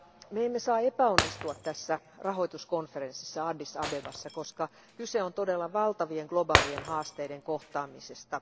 Me emme saa epäonnistua tässä rahoituskonferenssissa Addis Abebassa, koska kyse on todella valtavien globaalien haasteiden kohtaamisesta.